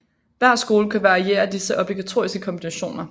Hver skole kan variere disse obligatoriske kombinationer